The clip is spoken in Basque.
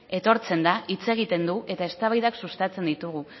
etortzen da hitz egiten du eta eztabaidak sustatzen ditugu